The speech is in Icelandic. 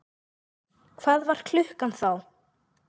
Hvað var klukkan þá?